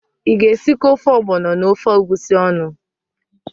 Ị ga-esikọ ofe ọgbọnọ na ofe egwusi ọnụ?